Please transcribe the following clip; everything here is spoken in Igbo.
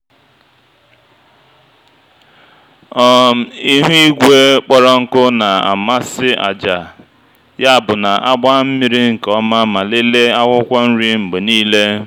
um ihu igwe kpọrọ nkụ na-amasị àjà yabụ na-agba mmiri nke ọma ma lelee akwụkwọ nri mgbe niile.